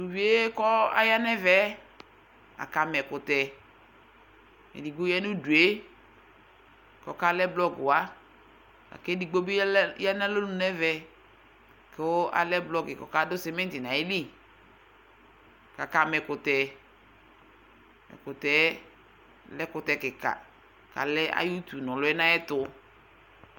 Tʋ uvi yɛ kʋ aya nʋ ɛfɛ yɛ, kama ɛkʋtɛ Edigbo ya nʋ udu yɛ kʋ ɔkalɛ blɔgʋwa la kʋ edigbo bɩ lɛ ya nʋ alɔnu nʋ ɛvɛ kʋ alɛ blɔkɩ kʋ ɔkadʋ sɩmɩtɩ nʋ ayili kʋ akama ɛkʋtɛ Ɛkʋtɛ yɛ lɛ ɛkʋtɛ kɩka kʋ alɛ ayʋ utunu lɛ nʋ ayɛtʋ